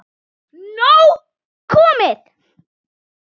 Nóg komið